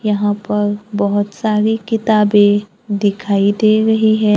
यहां पर बहोत सारी किताबें दिखाई दे रही है।